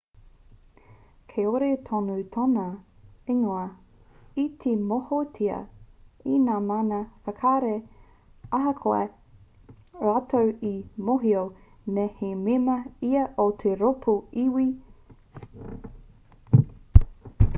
kāore tonu tōna ingoa i te mōhiotia e ngā mana whakahaere ahakoa rātou e mōhio nei he mema ia o te rōpū iwi uighur